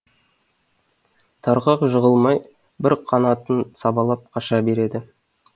тарғақ жығылмай бір қанатын сабалап қаша береді